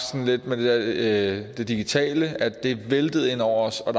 sådan lidt med det digitale at det væltede ind over os og